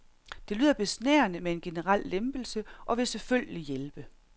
Det lyder besnærende med en generel lempelse og vil selvfølgelig hjælpe.